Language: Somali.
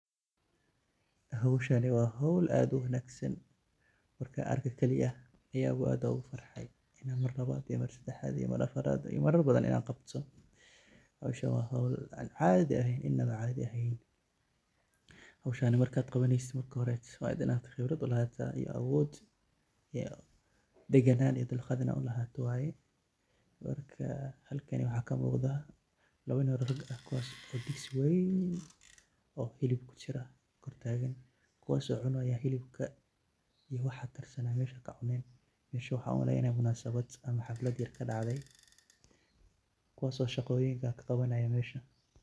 Howshani waa howl ad u wanaagsan marka arke keliyah ayan aad ogu farxay inan Mar labad iyo Mar sedexad iyo Mar farad, marar badan inan qabto, howshan waa howl an caadi ahayn ,inaba an caadi eheyn howshan markad qabaneysid marka hore waa inad qibrad ulahaata iyo awood deganan iyo dulqad ina ulahaato waye, marka halkaani waxaa kamuuqda laba nin, kawaaso digsi weyn oo hilib kujira kor taagan kuwaaso cunaya hilibka wax mesha kacunayan, mesha waxan umaleynaya munasabad ama xaflad yar kadhacday, kuwaaso shaqooyinka ka qabanaya mesha